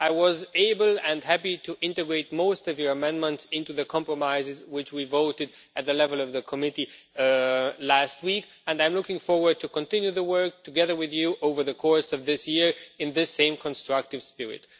I was able and happy to integrate most of your amendments into the compromises which we voted on at the level of the committee last week, and I am looking forward to continuing the work together with you over the course of this year in the same constructive spirit.